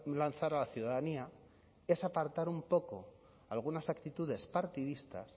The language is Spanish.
lanzar a la ciudadanía es apartar un poco algunas actitudes partidistas